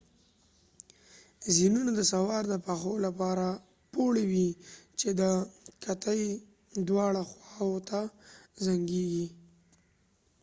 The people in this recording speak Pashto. زینونه د سوار د پښو لپاره پوړۍ وي چې د کتې دواړه خواوو ته زنګیږي